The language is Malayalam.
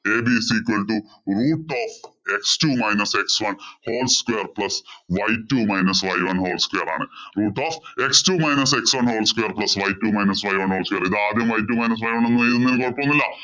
ab is equal to root of x two minus x one whole square plus y two minus y one whole square ആണ്. Root of x two minus x one whole square plus y two minus y one whole square ഇത് ആദ്യം y two minus y one എന്നെഴുതുന്നതിൽ കൊഴപ്പമൊന്നുമില്ലല്ലോ.